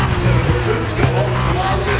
Your troops go off to Mali